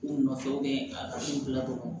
U nɔfɛ a ka f'u la